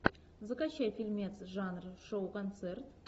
закачай фильмец жанр шоу концерт